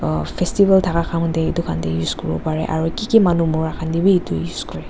em festival taka time dae etu khan dae use kuribo parae aro kiki manu mura khan dae bi etu use kurae.